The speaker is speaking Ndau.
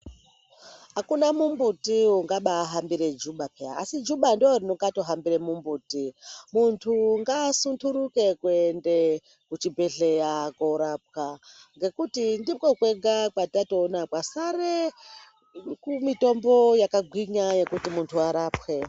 Akuna mumbuti ungabahambire juba peya asi juba ndiri ringatohambire mumbuti, muntu ngaasunduruke kuende kuchibhedhlera korapwa nekuti ndikokwega kwatatoona kwasare mitombo yakagwinya yekuti muntu arapwe.